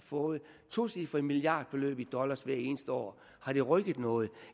fået tocifrede milliardbeløb i dollars hvert eneste år har det rykket noget